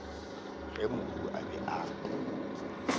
ge mohu a be a